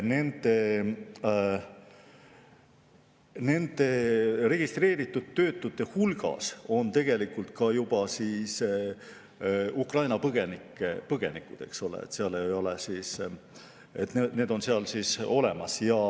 Igatahes, registreeritud töötute hulgas on tegelikult ka juba Ukraina põgenikud, nad on seal olemas.